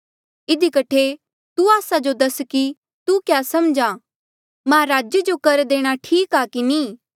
इधी कठे तू आस्सा जो दस कि तू क्या समझ्हा महाराजे जो कर देणा ठीक आ कि नी